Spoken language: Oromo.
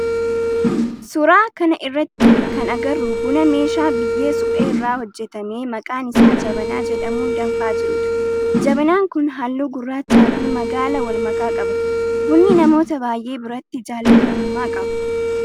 Suuraa kana irratti kan agarru buna meeshaa biyyee suphee irraa hojjetame maqaan isaa jabanaa jedhamun danfaa jirudha. Jabanaan kun halluu gurraachaa fi magaala walmakaa qaba. Bunni namoota baayyee biratti jaalatamummaa qaba.